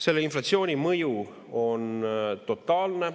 Selle inflatsiooni mõju on totaalne.